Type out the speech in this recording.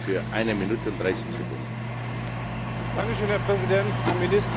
Herr Präsident, Frau Ministerin, Herr Kommissar, liebe Kolleginnen und Kollegen!